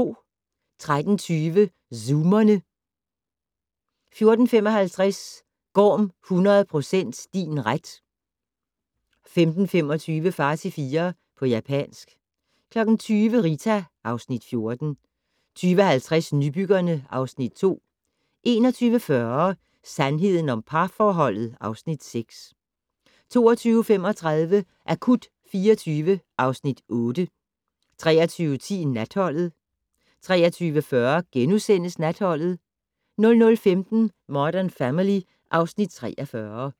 13:20: Zoomerne 14:55: Gorm 100 % din ret 15:25: Far til fire - på japansk 20:00: Rita (Afs. 14) 20:50: Nybyggerne (Afs. 2) 21:40: Sandheden om parforholdet (Afs. 6) 22:35: Akut 24 (Afs. 8) 23:10: Natholdet 23:40: Natholdet * 00:15: Modern Family (Afs. 43)